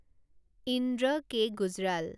Indra K Gujral